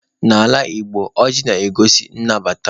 N'ala Igbo, ọjị na-egosi nnabata.